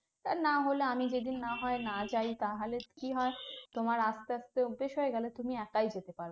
আর না হলে আমি যদি না হয় না যাই তাহলে কি হয় তোমার আস্তে আস্তে অভ্যেস হয়ে গেলে তুমি একাই যেতে পারবে